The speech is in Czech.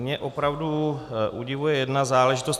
Mě opravdu udivuje jedna záležitost.